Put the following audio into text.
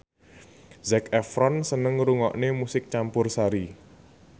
Zac Efron seneng ngrungokne musik campursari